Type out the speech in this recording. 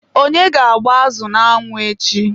onye ga-agba azụ n'anwụ echi?